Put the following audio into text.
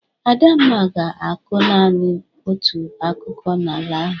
Adamma ga-akụ nanị otu akụkụ n'ala ahụ.